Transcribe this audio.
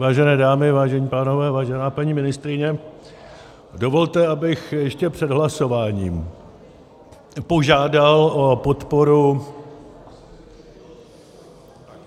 Vážené dámy, vážení pánové, vážená paní ministryně, dovolte, abych ještě před hlasováním požádal o podporu...